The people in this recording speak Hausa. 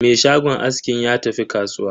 Me shagon askin ya tafi kasuwa.